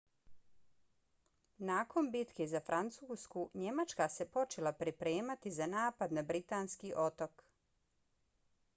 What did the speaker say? nakon bitke za francusku njemačka se počela pripremati za napad na britanski otok